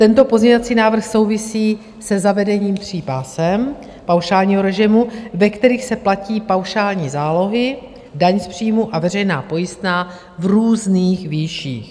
Tento pozměňovací návrh souvisí se zavedením tří pásem paušálního režimu, ve kterých se platí paušální zálohy, daň z příjmů a veřejná pojistná v různých výších.